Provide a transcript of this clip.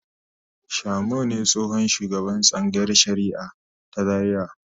Shamu ne tsohon shugaban tsangayar shari'a ta Zariya.